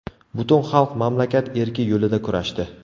Butun xalq mamlakat erki yo‘lida kurashdi.